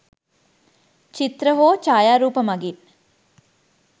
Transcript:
චිත්‍ර හෝ ඡායාරූප මගින්